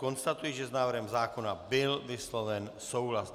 Konstatuji, že s návrhem zákona byl vysloven souhlas.